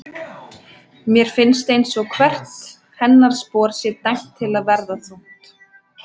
Mér finnst einsog hvert hennar spor sé dæmt til að verða þungt.